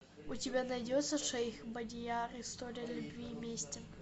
у тебя найдется шейх бадияр история любви и мести